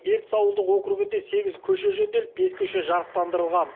ертіс ауылдық округінде сегіз көше жөнделіп бес көше жарықтандырылған